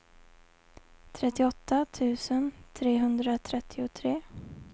trettioåtta tusen trehundratrettiotre